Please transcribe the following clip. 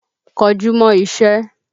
Kọjú mọ́ iṣẹ́!